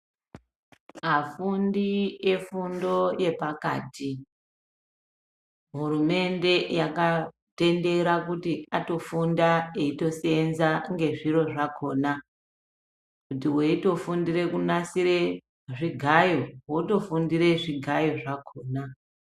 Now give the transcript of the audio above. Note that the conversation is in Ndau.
Afundi efundo yepakati hurumende yakatendera kuti atofunda eitoseeenza ngezviro zvakona. Kuti weitofundire kunasire zvigayo, wotofundire zvigayo zvakona.